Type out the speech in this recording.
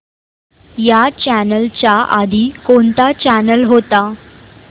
ह्या चॅनल च्या आधी कोणता चॅनल होता